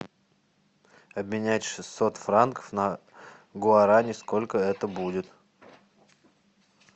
обменять шестьсот франков на гуарани сколько это будет